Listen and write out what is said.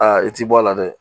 Aa i ti bɔ a la dɛ